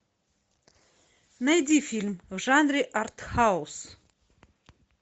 найди фильм в жанре арт хаус